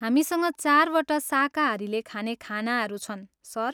हामीसँग चारवटा शाकाहारीले खाने खानाहरू छन्, सर।